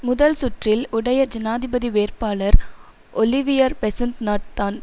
முதல் சுற்றில் யுடைய ஜனாதிபதி வேட்பாளர் ஒலிவியர் பெசன்ஸ்நாட் தான்